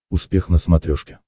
успех на смотрешке